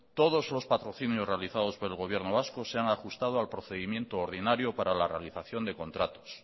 todos los patrocinios realizados por el gobierno vasco se han ajustado al procedimiento ordinario para la realización de contratos